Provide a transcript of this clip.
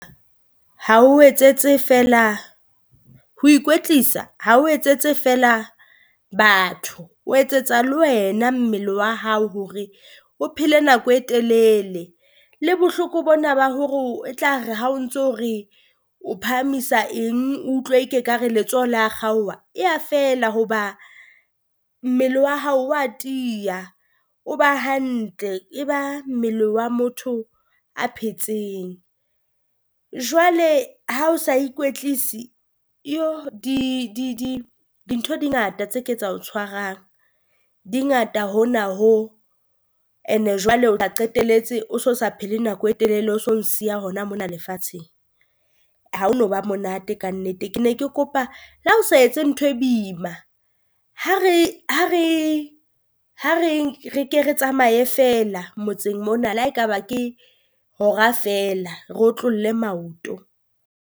Ha o etsetse feela ho ikwetlisa ha o etsetse feela batho, o etsetsa le wena mmele wa hao hore o phele nako e telele, le bohloko bona ba hore e tla re ha o ntso re o phahamisa eng o utlwe e ke ka re letsoho la kgaoha, e ya fela hoba mmele wa hao wa tiya. O ba hantle e ba mmele wa motho a phetseng, jwale ha o sa ikwetlisi iyo di di di dintho di ngata tse ke tsa o tshwarang di ngata hona ho, and-e Jwale wa qetelletse o so sa phele nako e telele, o so nsiya hona mona lefatsheng. Ha o no ba monate kannete ke ne ke kopa le ha o sa etse ntho e boima, ha re ha re ha re re ke re tsamaye feela motseng mona, le ha e ka ba ke hora feela re otlolle maoto.